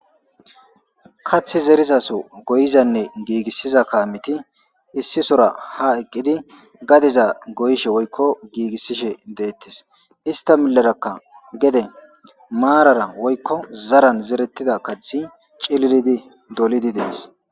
kath zerizaso goyizanne giigissiza kaamiti issisora ha eqqidi gadeza goyishe woykko giigissishe deettis ista milerakka gede maarara woykko zaran zerettida kathi cililidi dolidi dees